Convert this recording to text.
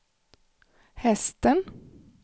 hästen